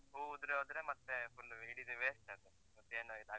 ಹೂ ಉದ್ರಿ ಹೋದ್ರೆ ಮತ್ತೆ full ಇಡಿದು waste ಅದು, ಮತ್ತೆ ಏನ್ ಇದ್ ಆಗ್ಲಿಕ್.